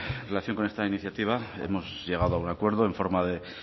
en relación con esta iniciativa hemos llegado a un acuerdo en forma de